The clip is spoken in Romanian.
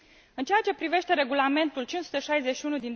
În ceea ce privește Regulamentul nr. 561